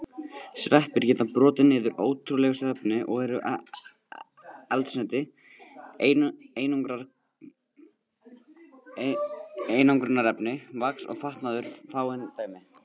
Sveppir geta brotið niður ótrúlegustu efni og eru eldsneyti, einangrunarefni, vax og fatnaður fáein dæmi.